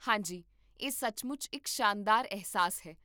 ਹਾਂ ਜੀ, ਇਹ ਸੱਚਮੁੱਚ ਇੱਕ ਸ਼ਾਨਦਾਰ ਅਹਿਸਾਸ ਹੈ